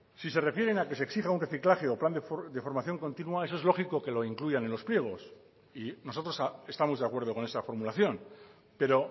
si se refieren a que se exija un reciclaje o plan de formación continua eso es lógico que lo incluyan en los pliegos y nosotros estamos de acuerdo con esa formulación pero